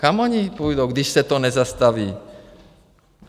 Kam oni půjdou, když se to nezastaví?